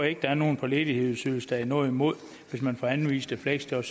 ikke der er nogen på ledighedsydelse der har noget imod hvis man får anvist et fleksjob